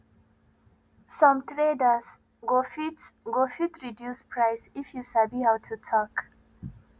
some traders go fit go fit reduce price if you sabi how to talk